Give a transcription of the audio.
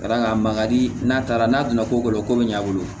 Ka d'a kan mandi n'a taara n'a donna ko bɛ ɲɛ a bolo